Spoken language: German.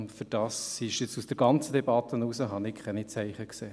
Dafür habe ich aus der ganzen Debatte heraus keine Zeichen gesehen.